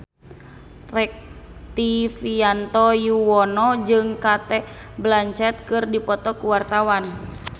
Rektivianto Yoewono jeung Cate Blanchett keur dipoto ku wartawan